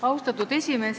Austatud esimees!